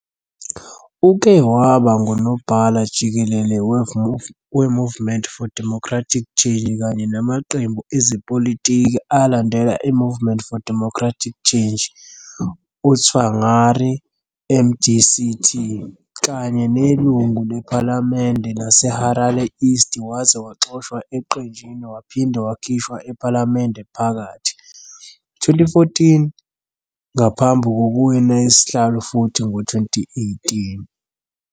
Uke waba nguNobhala Jikelele weMovement for Democratic Change kanye namaqembu ezepolitiki alandela iMovement for Democratic Change - uTsvangirai, MDC-T, kanye nelungu lePhalamende laseHarare East waze waxoshwa eqenjini waphinde wakhishwa ephalamende phakathi. 2014, ngaphambi kokuwina isihlalo futhi ngo-2018.